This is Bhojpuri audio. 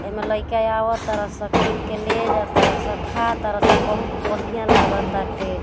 ऐमें लइका आवातारा स किन के ले जा तारा स खाय तारा सब बहुत बढ़िया लगाताटे।